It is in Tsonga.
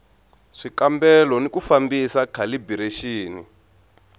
swikambelo ni ku fambisa khalibirexini